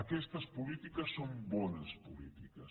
aquestes polítiques són bones polítiques